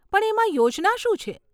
પણ એમાં યોજના શું છે?